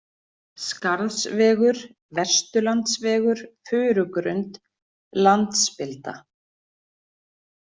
Skarðsvegur, Vesturlandsvegur, Furugrund, Landspilda